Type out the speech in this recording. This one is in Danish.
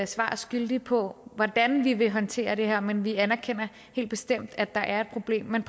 svar skyldig på hvordan vi vil håndtere det her men vi anerkender helt bestemt at der er et problem men